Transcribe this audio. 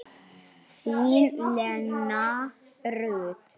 Þín, Lena Rut.